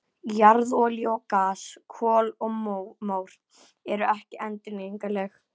Jarðolía og gas, kol og mór eru ekki endurnýjanleg.